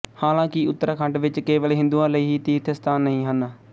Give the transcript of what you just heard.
ਹਾਲਾਂਕਿ ਉਤਰਾਖੰਡ ਵਿਚ ਕੇਵਲ ਹਿੰਦੂਆਂ ਲਈ ਹੀ ਤੀਰਥ ਅਸਥਾਨ ਨਹੀਂ ਹਨ